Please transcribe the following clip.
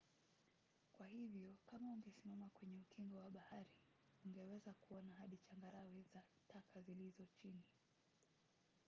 kwa hivyo kama ungesimama kwenye ukingo wa bahari ungeweza kuona hadi changarawe na taka zilizo chini